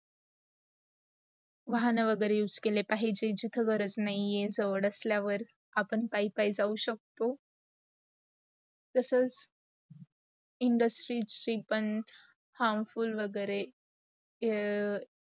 वाहन वगैरे use केले पाहिजे अस गरज नाही आहेत जवाड असल्यावर आपण पाई - पाई जाऊ शकतो. तसंच, industry ची पण harmful वगैरे